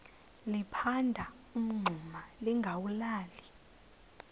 liphanda umngxuma lingawulali